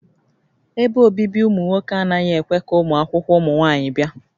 Ebe obibi ụmụ nwoke anaghị ekwe ka ụmụakwụkwọ ụmụ nwaanyị bịa